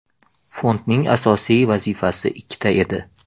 Fondning asosiy vazifasi ikkita edi.